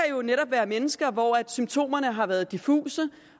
være mennesker hvor symptomerne har været diffuse